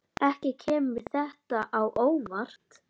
Ekki kemur þetta á óvart.